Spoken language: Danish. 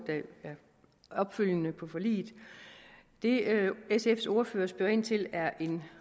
den opfølgende lovgivning på forliget det sfs ordfører spørger ind til er en